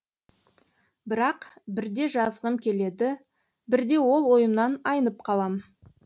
бірақ бірде жазғым келеді бірде ол ойымнан айнып қалам